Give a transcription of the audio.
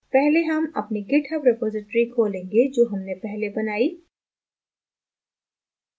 पहले हम अपनी github repository खोलेंगे जो हमने पहले बनाई